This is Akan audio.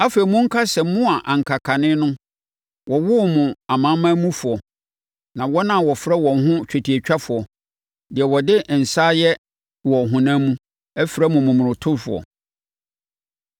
Afei, monkae sɛ mo a na anka kane no wɔwoo mo amanamanmufoɔ, na wɔn a wɔfrɛ wɔn ho twetiatwafoɔ, (deɛ wɔde nsa ayɛ wɔ honam mu) frɛ mo momonotofoɔ,